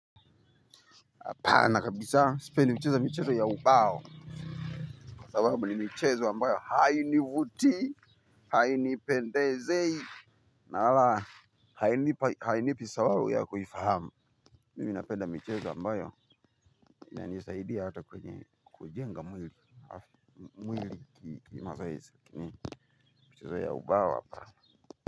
Hapana kabisa sipendi mchezo mchezo ya ubao. Sababu ni mchezo ambayo hainivutii hainipendezei. Na wala hainipi sababu ya kuifahamu. Mimi napenda michezo ambayo inanisaidia hata kwenye kujenga mwili mwili kimazoezi lakini mchezo ya ubao hapa.